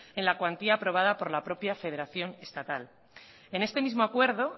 en la cuantía aprobada por la propia federación estatal en este mismo acuerdo